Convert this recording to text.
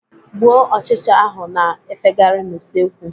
Gbuo ọchịcha ahụ na-efegarị n'usekwu!